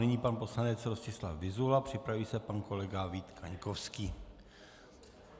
Nyní pan poslanec Rostislav Vyzula, připraví se pan kolega Vít Kaňkovský.